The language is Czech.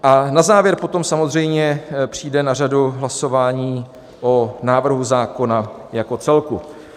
A na závěr potom samozřejmě přijde na řadu hlasování o návrhu zákona jako celku.